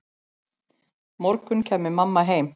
morgun kæmi mamma heim.